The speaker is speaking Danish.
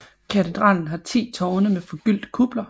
Katedralen har ti tårne med forgyldte kupler